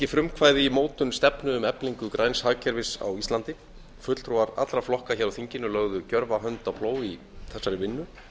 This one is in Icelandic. frumkvæði í mótun stefnu um eflingu græns hagkerfis á íslandi fulltrúar allra flokka hér á þinginu lögðu gjörva hönd á plóg í þessari vinnu